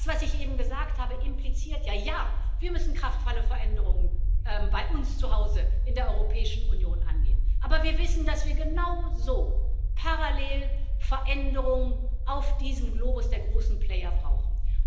Das, was ich eben gesagt habe, impliziert ja, dass wir kraftvolle Veränderungen bei uns zu Hause in der Europäischen Union angehen müssen, aber wir wissen, dass wir genauso parallel Veränderungen auf diesem Globus der großen Player brauchen.